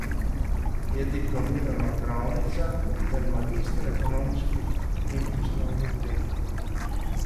Je diplomirana pravnica ter magistra ekonomskih in poslovnih ved.